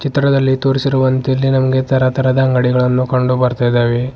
ಚಿತ್ರದಲ್ಲಿ ತೋರಿಸಿರುವಂತೆ ಇಲ್ಲಿ ನಮಗೆ ತರ ತರಹದ ಅಂಗಡಿಗಳನ್ನು ಕಂಡು ಬರುತ್ತಾ ಇದ್ದಾವೆ.